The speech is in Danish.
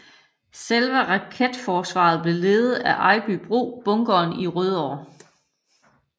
Selve raketforsvaret blev ledet fra Ejbybro Bunkeren i Rødovre